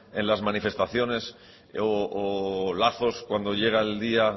en las manifestaciones o lazos cuando llega el día